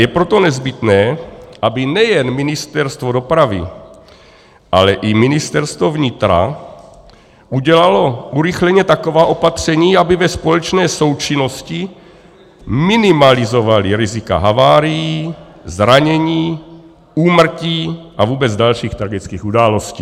Je proto nezbytné, aby nejen Ministerstvo dopravy, ale i Ministerstvo vnitra udělala urychleně taková opatření, aby ve společné součinnosti minimalizovala rizika havárií, zranění, úmrtí a vůbec dalších tragických událostí.